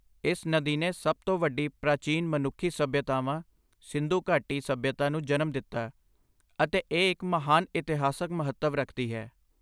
ਇਸ ਨਦੀ ਨੇ ਸਭ ਤੋਂ ਵੱਡੀ ਪ੍ਰਾਚੀਨ ਮਨੁੱਖੀ ਸੱਭਿਅਤਾਵਾਂ, ਸਿੰਧੂ ਘਾਟੀ ਸੱਭਿਅਤਾ ਨੂੰ ਜਨਮ ਦਿੱਤਾ ਅਤੇ ਇਹ ਇੱਕ ਮਹਾਨ ਇਤਿਹਾਸਕ ਮਹੱਤਵ ਰੱਖਦੀ ਹੈ।